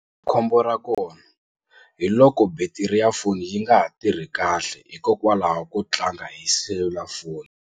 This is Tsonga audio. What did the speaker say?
Khombo ra kona hi loko battery ya foni yi nga ha tirhi kahle hikokwalaho ko tlanga hi selulafoni.